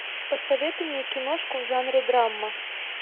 посоветуй мне киношку в жанре драма